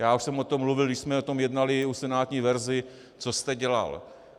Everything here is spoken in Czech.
Já už jsem o tom mluvil, když jsme o tom jednali v senátní verzi, co jste dělal.